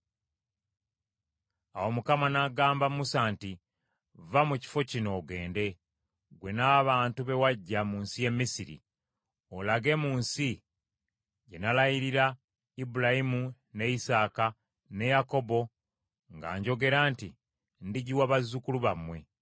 Awo Mukama n’agamba Musa nti, “Vva mu kifo kino ogende, ggwe n’abantu be waggya mu nsi y’e Misiri, olage mu nsi gye nalayirira Ibulayimu ne Isaaka, ne Yakobo, nga njogera nti, ‘Ndigiwa bazzukulu bammwe.’